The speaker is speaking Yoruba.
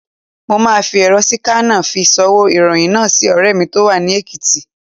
Mo máa fi èrọ síkánà fi ṣ'ọwọ́ ìròyìn náà sí ọ̀rẹ́ mi tó wà ní Èkìtì.